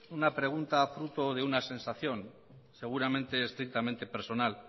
una pregunta fruto de una sensación seguramente estrictamente personal